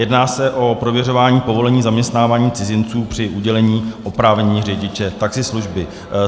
Jedná se o prověřování povolení zaměstnávání cizinců při udělení oprávnění řidiče taxislužby.